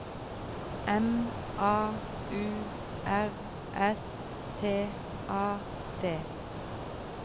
M A U R S T A D